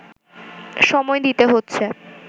সময় দিতে হচ্ছে